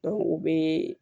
u bɛ